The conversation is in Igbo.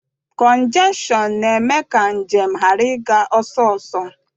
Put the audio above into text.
Kọnjeshọn na-eme ka njem ghara ịga ọsọsọ.